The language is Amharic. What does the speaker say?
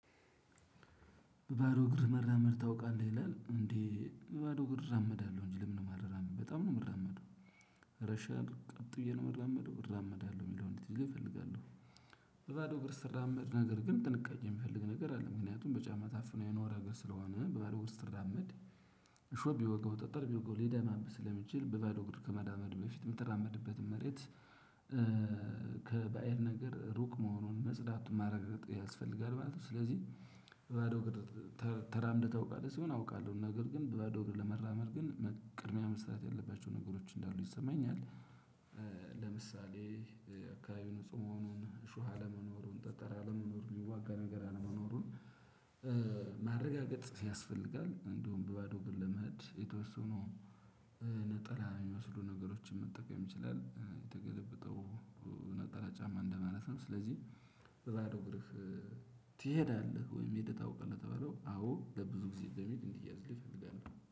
በባዶ እግር መራመድ ታውቃለህ ይላል እንዴ? በባዶ እግር እራመዳለሁ እንጂ ለምንድነው ማልራመደው በጣም ነው የምራመደው። ረሻን ቀጥ ብዬ ነው የምራመደው እራመዳለሁ የሚለውን እንድትይዙልኝ እፈልጋለሁ። ባዶ እግር ስራመድ ነገር ግን ጥንቃቄ የሚፈልግ ነገር አለ ምክንያቱም በጫማ ታፍኖ የኖረ እግር ስለሆነ በባዶ እግር ስትራመድ እሾህ ቢወገው ጠጠር ቢወገው ሊደማብህ ስለሚችል በባዶ እግር ከመራመድህ በፊት የምትራመድበትን መሬት። ከባእድ ነገር ሩቅ መሆኑን መጽዳት ማረጋገጥ ያስፈልጋል ማለት ነው። ስለዚህ ባዶ እግር ተራምደህ ታውቃለህ? ሲሆን አውቃለሁ ነገር ግን በባዶ እግር ለመራመድ ግን ቅድሚያ መሰጠት ያለባቸው ነገሮች እንዳሉ ይሰማኛል። ለምሳሌ አካባቢ ንጹህ መሆኑን እሾህ አለመኖሩን ጠጠር አለመኖሩን ሚዋጋ ነገር አለመኖሩን። ማረጋገጥ ያስፈልጋል እንዲሁም በባዶ እግር ለመሄድ የተወሰኑ ነጠላ የሚመስሉ ነገሮችን መጠቀም ይችላል የተገለበጠው ነጠላ ጫማ እንደማለት ነው። ስለዚህ በባዶ እግርህ ትሄዳለህ ወይም ሄደህ ታውቃለህ? ለተባለው አዎ ለብዙ ጊዜ በሚል እንዲያዝልኝ እፈልጋለው